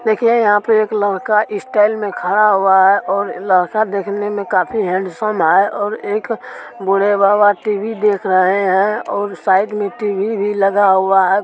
देखिए यहा पर एक लड़का स्टाइल मे खडा हुआ है और लड़का देखने मे काफी हैंडसम है और एक बूढ़े बाबा टी_वी देख रहे है और साइड मे टी_वी भी लगा हुआ है।